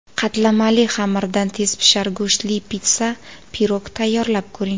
Qatlamali xamirdan tezpishar go‘shtli pitssa-pirog tayyorlab ko‘ring.